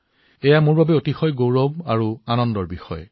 এইটো মোৰ বাবে অতি গৌৰৱৰ বিষয় আনন্দৰ বিষয়